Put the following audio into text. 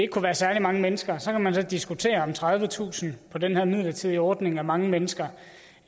kunne være særlig mange mennesker så kan man så diskutere om tredivetusind på den her midlertidige ordning er mange mennesker